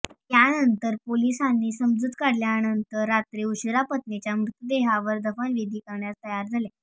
त्यानंतर पोलिसांनी समजूत काढल्यानंतर रात्री उशिरा पत्नीच्या मृतदेहावर दफनविधी करण्यास तयार झाले